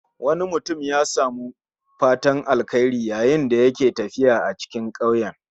Wani mutum ya samu fatan alkhairi yayin da yake tafiya a cikin ƙauyen